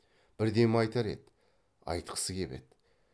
бірдеме айтар еді айтқысы кеп еді